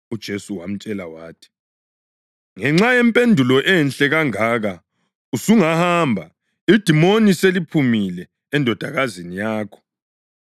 UJesu wamtshela wathi, “Ngenxa yempendulo enhle kangaka usungahamba; idimoni seliphumile endodakazini yakho.”